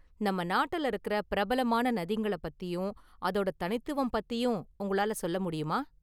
நம்ம​ நாட்டுல இருக்குற பிரபலமான​ நதிங்கள பத்தியும் அதோட தனித்துவம் பத்தியும் உங்களால சொல்ல​ முடியுமா?